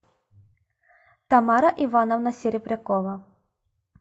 тамара ивановна серебрякова